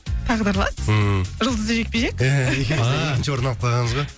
тағдырлас ммм жұлдызды жекпе жек